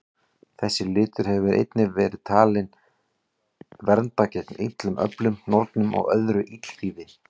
Þessi litur hefur einnig verið talinn vernda gegn illum öflum, nornum og öðru illþýði.